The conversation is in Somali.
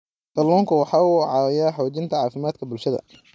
Kalluunku waxa uu caawiyaa xoojinta caafimaadka bulshada.